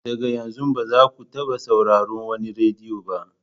Daga yanzu, ba za ku taɓa sauraron wannan rediyo ba!